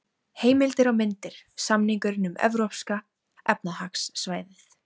Heimildir og myndir: Samningurinn um Evrópska efnahagssvæðið.